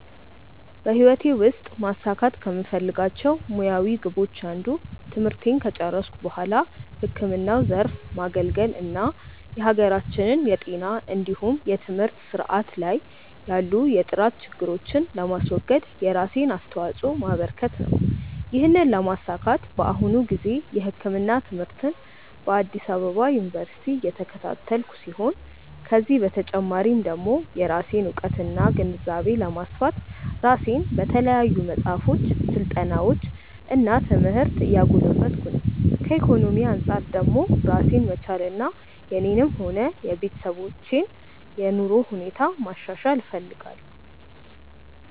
በህይወቴ ውስጥ ማሳካት ከምፈልጋቸው ሙያዊ ግቦች አንዱ ትምህርቴን ከጨረስኩ በኋላ ህክምናው ዘርፍ ማገልገል እና የሀገራችንን የጤና እንዲሁም የትምህርት ስርዓት ላይ ያሉ የጥራት ችግሮችን ለማስወገድ የራሴን አስተዋጾ ማበረከት ነው። ይህንን ለማሳካት በአሁኑ ጊዜ የህክምና ትምህርትን በአዲስ አበባ ዩኒቨርሲቲ እየተከታተልኩ ሲሆን ከዚህ በተጨማሪ ደግሞ የራሴን እውቀትና ግንዛቤ ለማስፋት ራሴን በተለያዩ መጽሐፎች፣ ስልጠናዎች እና ትምህርት እያጎለበትኩ ነው። ከኢኮኖሚ አንጻር ደግሞ ራሴን መቻልና የኔንም ሆነ የቤተሰቦችን የኑሮ ሁኔታ ማሻሻል እፈልጋለሁ።